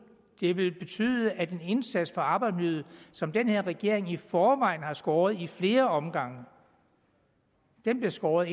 det vil betyde at den indsats for arbejdsmiljøet som den her regering i forvejen har skåret ned på i flere omgange bliver skåret